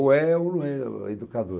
Ou é ou não é educador.